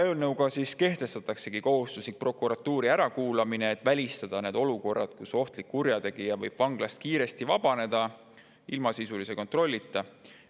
Eelnõu kohaselt kehtestatakse kohustuslik prokuratuuri ärakuulamine, et välistada olukorrad, kus ohtlik kurjategija võib vanglast kiiresti vabaneda ilma sisulise kontrollita.